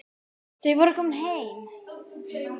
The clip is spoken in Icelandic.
Þau voru komin heim.